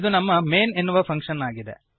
ಇದು ನಮ್ಮ ಮೈನ್ ಎನ್ನುವ ಫಂಕ್ಶನ್ ಆಗಿದೆ